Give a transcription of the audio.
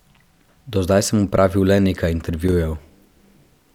Do zdaj sem opravil le nekaj intervjujev.